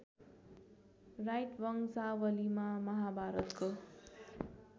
right वंशावलीमा महाभारतको